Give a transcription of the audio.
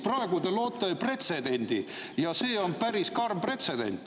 Praegu te loote pretsedendi ja see on päris karm pretsedent.